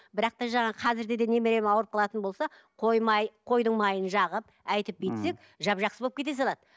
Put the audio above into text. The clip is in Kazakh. бірақ та жаңағы қазірде де немерем ауырып қалатын болса қойдың майын жағып әйтіп бүйтсек жап жақсы болып кете салады